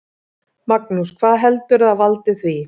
Magnús: Hvað heldurðu að valdi því?